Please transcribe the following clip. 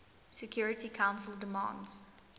security council demands